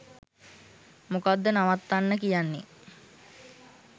මොකද්ද නවත්තන්න කියන්නේ